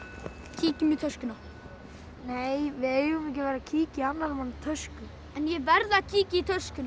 kíkjum í töskuna nei við eigum ekki að vera að kíkja í annarra manna tösku ég verð að kíkja í töskuna